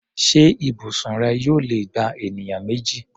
Ṣé ibùsùn rẹ yóò lè gba ènìyàn méjì?